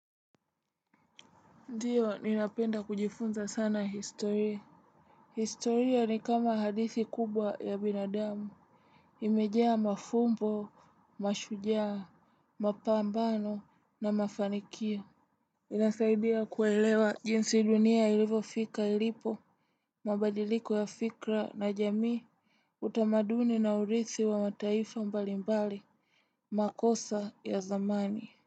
Ndiyo, ninapenda kujifunza sana historia. Historia ni kama hadithi kubwa ya binadamu. Imejaa mafumbo, mashujaa, mapambano na mafanikio. Inasaidia kuelewa jinsi dunia ilivyofika ilipo, mabadiliko ya fikra na jamii, utamaduni na urithi wa mataifa mbalimbali, makosa ya zamani.